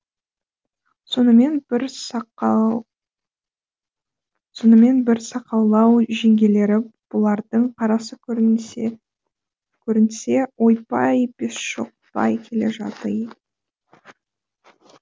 сонымен бір сақаулау жеңгелері бұлардың қарасы көрінсе ойбай бесшоқпай келе жатый